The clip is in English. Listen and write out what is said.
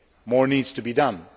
media, more needs to be done.